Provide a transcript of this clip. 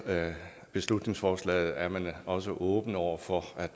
beslutningsforslaget er man også åben over for